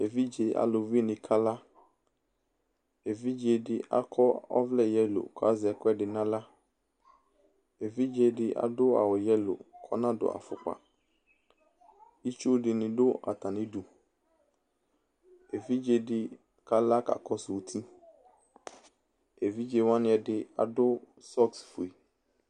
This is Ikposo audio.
Evidze aluvinɩ kala Evidze dɩ akɔ ɔvlɛ yelo kʋ azɛ ɛkʋɛdɩ nʋ aɣla Evidze dɩ adʋ awʋ yelo kʋ ɔnadʋ afʋkpa Itsu dɩnɩ dʋ atamɩdu Evidze dɩ kala kakɔsʋ uti Evidze wanɩ ɛdɩ adʋ sɔks fue